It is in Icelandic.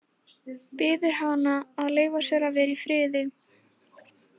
Biður hana að leyfa sér að vera í friði.